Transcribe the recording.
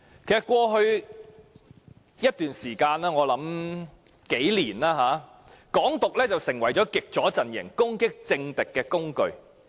在過去一段時間，我想是近幾年，"港獨"成為極左陣營攻擊政敵的工具。